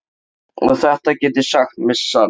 Og þetta get ég sagt með sann.